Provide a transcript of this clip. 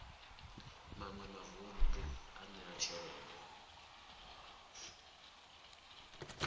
maṅwe mavun ḓu a ṋea tshelede